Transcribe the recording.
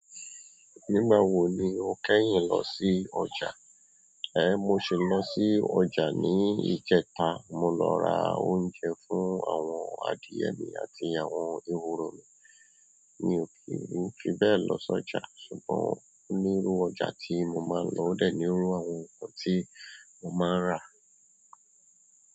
Nígbà wo ni o kẹ́yìn lọ sí ọjà? Ẹ mo sì lọ sí ọjà ní ìjẹta. Mo lọ ra oúnjẹ fún àwọn adìyẹ mi àti àwọn ehoro. Mi ò kí ń fi bẹ́ẹ̀ lọ sí ọjà, ṣùgbọ́n onírú ọjà tí mo máa ń lọ o dẹ̀ nírú àwọn ògùn tí mo máa ń rà.